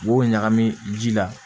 U b'o ɲagami ji la